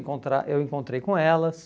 encontrar, Eu encontrei com elas.